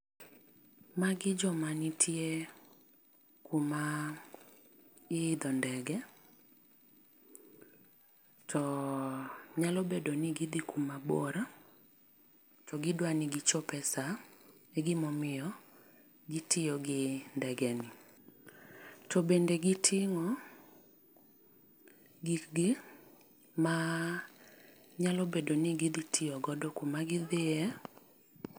Magi jo ma nitie kuma iidho ndege to nyalo bedo ni gi dhi kuma bor to gi dwa ni gi chop e saa e gimomiyo gi tiyo gi ndege ni ,to bende gi ting'o gik gi ma nyalo bedo ni gi dhi tiyo go kuma gi dhiye.